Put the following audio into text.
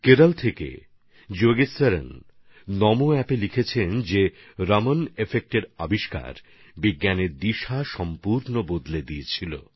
কেরল থেকে যোগেশ্বরণজি নমোঅ্যাপে লিখেছেন রমণ এফেক্টের আবিষ্কার গোটা বিজ্ঞান জগতের গতিপথ বদলে দিয়েছিলো